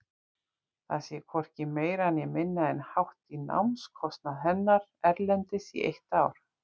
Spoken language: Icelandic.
Það sé hvorki meira né minna en hátt í námskostnað hennar erlendis í eitt ár.